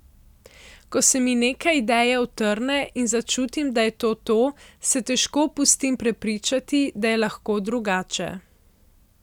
Ko se mi neka ideja utrne in začutim, da je to to, se težko pustim prepričati, da je lahko drugače.